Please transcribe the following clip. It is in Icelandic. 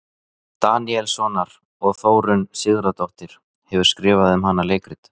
Daníelssonar, og Þórunn Sigurðardóttir hefur skrifað um hana leikrit.